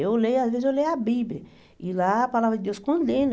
Eu leio, às vezes eu leio a Bíblia, e lá a palavra de Deus condena.